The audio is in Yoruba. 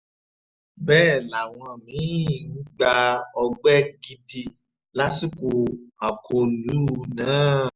bẹ́ẹ̀ làwọn mí-ín gba ọgbẹ́ gidi lásìkò akólú náà